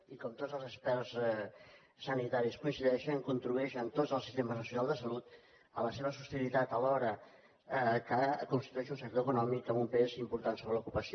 i com tots els experts sanitaris coincideixen contribueix en tots els sistemes nacionals de salut a la seva sostenibilitat alhora que constitueix un sector econòmic amb un pes important sobre la població